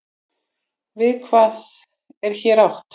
Við hvað er hér átt?